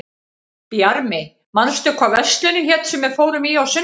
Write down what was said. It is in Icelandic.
Bjarmi, manstu hvað verslunin hét sem við fórum í á sunnudaginn?